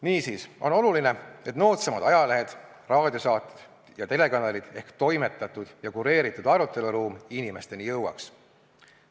Niisiis on oluline, et noodsamad ajalehed, raadiosaated ja telekanalid ehk toimetatud ja kureeritud aruteluruum inimesteni jõuaks.